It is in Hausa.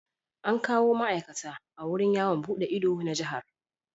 An kawo ma'aikata a wurin yawo buɗe ido na Jihar.